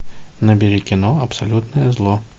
набери кино абсолютное зло